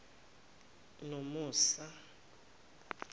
nomusa